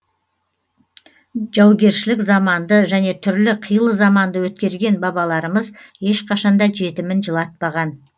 жаугершілік заманды және түрлі қилы заманды өткерген бабаларымыз ешқашанда жетімін жылатпаған